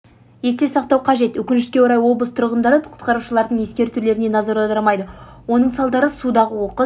есте сақтау қажет өкінішке орай облыс тұрғындары құтқарушылардың ескертулеріне назар аудармайды оның салдары судағы оқыс